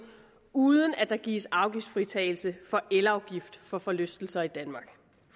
uden at der gives afgiftsfritagelse for elafgift for forlystelser i danmark